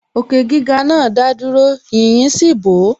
Òkè gíga náà dádúró, yīyí sì bò ó